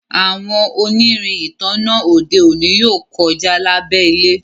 àwọn onirin ìtanná ode òní yóò kọja lábé ilẹ